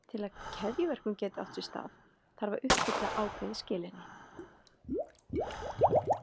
Til að keðjuverkun geti átt sér stað þarf að uppfylla ákveðið skilyrði.